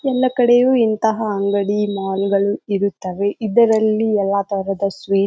ಎಲ್ಲ ಕಡೆಯೂ ಇಂತಹ ಅಂಗಡಿ ಮಾಲ್ ಗಳು ಇರುತ್ತವೆ. ಇದರಲ್ಲಿ ಯಾವತರಹದ ಸ್ವೀಟ್ಸ್ --